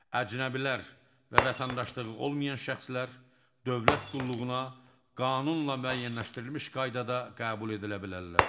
Əcnəbilər və vətəndaşlığı olmayan şəxslər dövlət qulluğuna qanunla müəyyənləşdirilmiş qaydada qəbul edilə bilərlər.